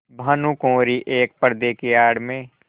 भानुकुँवरि एक पर्दे की आड़ में